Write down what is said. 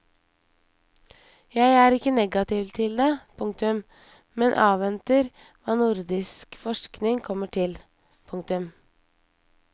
Jeg er ikke negativ til det, komma men avventer hva nordisk forskning kommer til. punktum